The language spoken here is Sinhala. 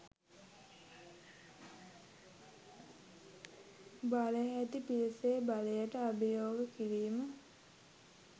බලය ඇති පිරිසේ බලයට අභියෝග කිරීම